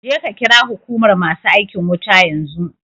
Je ka ƙira huƙumar masu aikin wuta yanzu